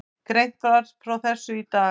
Greint var frá þessu í dag